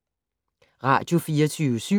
Radio24syv